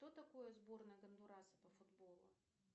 что такое сборная гондураса по футболу